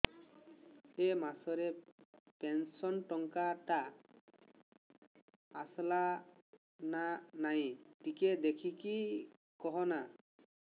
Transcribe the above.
ଏ ମାସ ରେ ପେନସନ ଟଙ୍କା ଟା ଆସଲା ନା ନାଇଁ ଟିକେ ଦେଖିକି କହନା